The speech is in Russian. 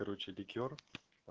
короче ликёр